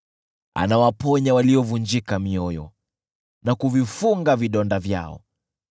Anawaponya waliovunjika mioyo na kuvifunga vidonda vyao.